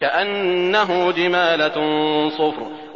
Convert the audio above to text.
كَأَنَّهُ جِمَالَتٌ صُفْرٌ